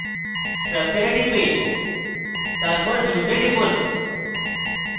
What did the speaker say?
structure এ টিপে তারপর views এ টিপুন